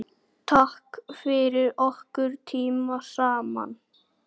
Takk fyrir okkar tíma saman.